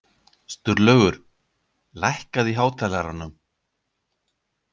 Sturlaugur, lækkaðu í hátalaranum.